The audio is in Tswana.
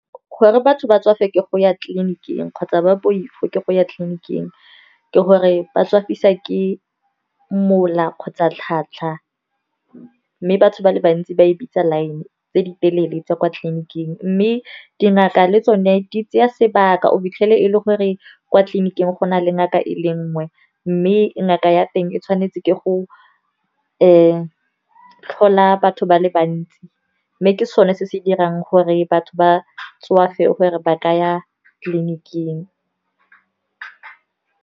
Gore batho ba tswa fa ke go ya tleliniking kgotsa ba poifo ke go ya tleliniking ke gore ba tswafisiwa ke mola kgotsa tlhatlha. Mme batho ba le bantsi ba e bitsa line tse di telele tsa kwa tleliniking. Mme dingaka le tsone di tsaya sebaka, o fitlhele e le gore kwa tleliniking go na le ngaka e le nngwe, mme ngaka ya teng e tshwanetse ke go tlhola batho ba le bantsi, mme ke sone se se dirang gore batho ba tswafe gore ba ka ya tleliniking.